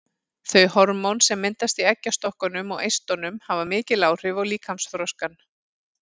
Þau hormón sem myndast í eggjastokkunum og eistunum hafa mikil áhrif á líkamsþroskann.